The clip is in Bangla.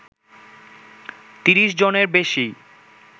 ৩০ জনের বেশি